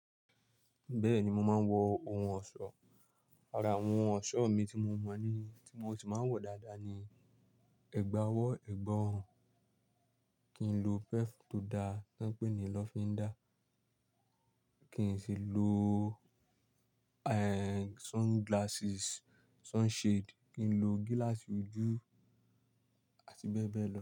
Bẹ́ẹ̀ni, mo máa ń wọ oun ọ̀ṣọ́, àrà oun ọ̀ṣọ́ mi tí mo mọ̀ ní, tí mo sì máa ń wọ dáadáa ni ẹ̀gbà ọwọ́, ẹ̀gbà ọrùn, kín lo perf tó dáa tí wọ́n ń pè ní lọ́fíndá, kín sì lo- ehn, sunglasses, sunshade, kín lo gíláàsì ojú àti bẹ́ẹ̀ bẹ́ẹ̀ lọ.